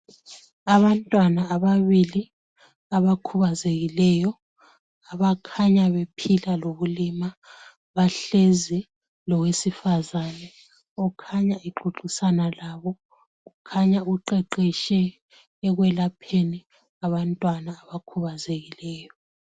Abantwana ababili abakhubazekileyo abakhanya bephila lobulima bahlezi lowesifazane okhanya exoxisana labo. Kukhanya uqeqetshe ekwelapheni abantwana abakhubazekileyo.